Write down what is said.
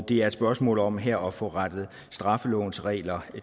det er et spørgsmål om her at få rettet straffelovens regler